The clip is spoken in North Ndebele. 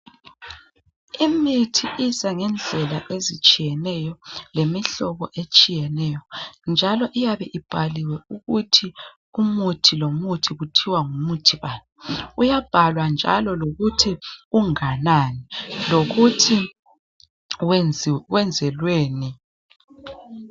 Imithi iza ngendlela ezitshiyeneyo lemihlobo etshiyeneyo njalo iyabe ibhaliwe ukuthi umuthi lomuthi kuthiwa ngumuthi bani. Uyabhalwa njalo lokuthi unganani lokuthi wenzelweni.